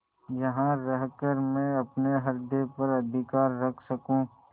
यहाँ रहकर मैं अपने हृदय पर अधिकार रख सकँू